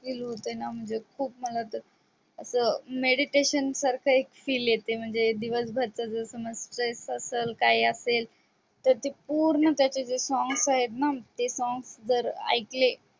ते मला खूप असं narriation सारख एक feel येते म्हणजे दिवसभर stress असेल किंवा काय असेल तर ते पूर्ण त्याचे जे songs आहेत ना ते songs जर ऐकले